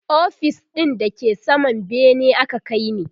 ofis ɗin da ke saman bene aka kaini